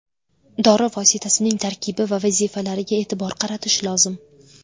Dori vositasining tarkibi va vazifalariga e’tibor qaratish lozim.